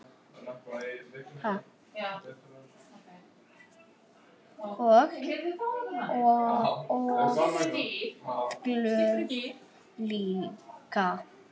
Og oft glöð líka.